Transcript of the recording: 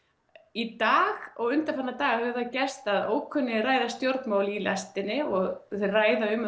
í dag og undanfarna daga hefur það gerst að ókunnugir ræða stjórnmál í lestinni og þau ræða um